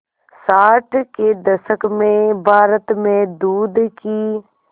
साठ के दशक में भारत में दूध की